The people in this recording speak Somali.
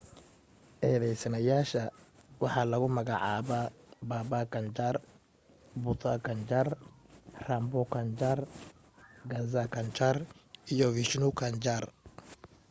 eedaysanayaasha waxa lagu magacaabaa baba kanjar bhutha kanjar, rampro kanjar, gaza kanjar iyo vishnu kanjar